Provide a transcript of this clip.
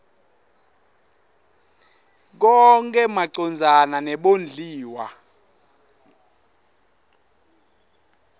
konkhe macondzana nebondliwa